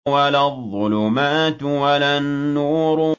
وَلَا الظُّلُمَاتُ وَلَا النُّورُ